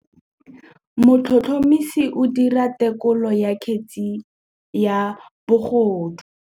Motlhotlhomisi o dira têkolô ya kgetse ya bogodu.